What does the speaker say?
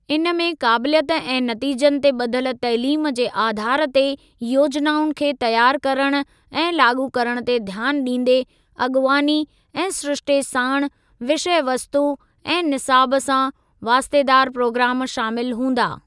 इन में काबिलियत ऐं नतीजनि ते ॿधल तइलीम जे आधार ते योजनाउनि खे तियारु करण ऐं लाॻू करण ते ध्यानु ॾींदे अॻुवानी ऐं सिरिश्ते साणु विषयवस्तु ऐं निसाब सां वास्तेदारु प्रोग्राम शामिल हुंदा।